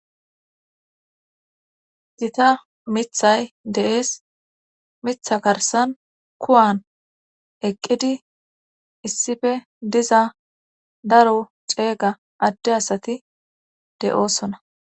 gita mithay dees mitha garsan kuwan eqqidi issippe diza daro ceega adde asati de7oosona